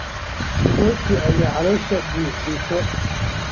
Rooti ayaa caloosha buuxisa.